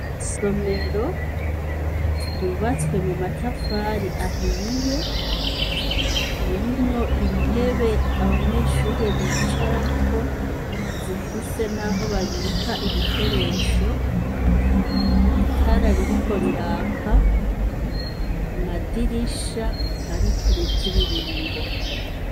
Isomero ryubatswe mu matafari ahiye, ririmwo intebe abanyeshure bicarako, zifise n'aho babika ibikoresho, itara ririko riraka, amadirisha ariko imitiririmbo.